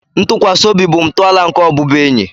Ntụkwasị obi bụ ntọala nke ọbụbụenyi